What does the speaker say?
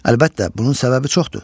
Əlbəttə, bunun səbəbi çoxdur.